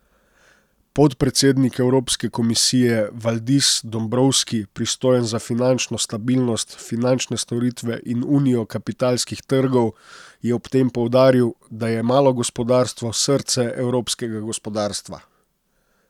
Podpredsednik Evropske komisije Valdis Dombrovski, pristojen za finančno stabilnost, finančne storitve in unijo kapitalskih trgov, je ob tem poudaril, da je malo gospodarstvo srce evropskega gospodarstva.